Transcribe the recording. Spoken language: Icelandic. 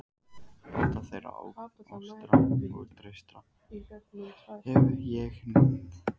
Báta þeirra, Austra og Trausta, hef ég nefnt.